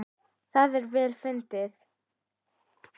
Það er vel til fundið.